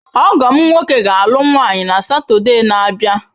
Ọgọ m nwoke ga-alụ nwanyị na Satọde na-abịa.